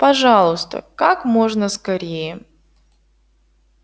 пожалуйста как можно скорее